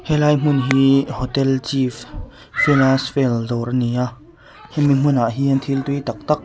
helai hmun hi hotel chief felas fel dawr a ni a hemi hmunah hian thil tui tak tak--